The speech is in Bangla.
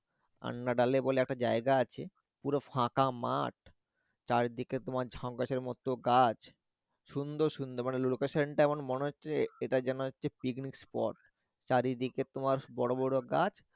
আন্নাডা বলে একটা জায়গা আছে পুরো ফাঁকা মাঠ চারদিকে তোমার সংকাছের মতো গাছ সুন্দর সুন্দর মানে location টা মনে হচ্ছে এটা যেন একটি picnic spot চারিদিকে তোমার বড় বড় গাছ।